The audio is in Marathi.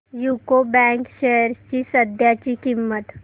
यूको बँक शेअर्स ची सध्याची किंमत